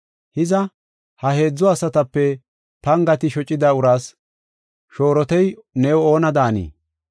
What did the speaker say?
“Hiza, ha heedzu asatape pangati shocida uraas shoorotey new oona daanii?”